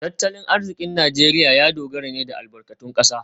Tattalin arzikin Najeriya ya dogara ne da albarkatun kasa